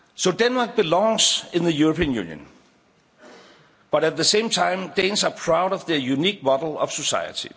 Denmark belongs in the European Union, but, at the same time, Danes are proud of their unique model of society.